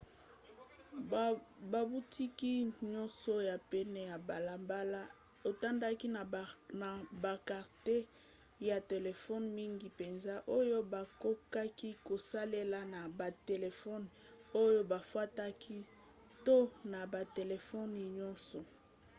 babutiki nyonso ya pene ya balabala etondaki na bakarte ya telefone mingi mpenza oyo bakokaki kosalela na batelefone oyo bafutaka to na batelefone nyonso